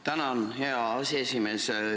Tänan, hea aseesimees!